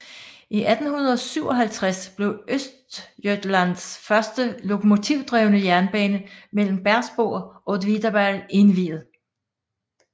I 1857 blev Östergötlands første lokomotivdrevne jernbane mellem Bersbo og Åtvidaberg indviet